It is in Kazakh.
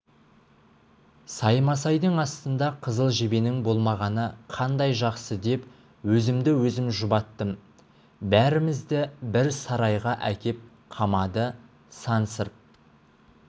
саймасайдың астында қызыл жебенің болмағаны қандай жақсы деп өзімді-өзім жұбаттым бәрімізді бір сарайға әкеп қамады сансырп